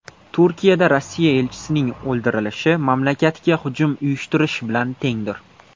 Turkiyada Rossiya elchisining o‘ldirilishi mamlakatga hujum uyushtirish bilan tengdir.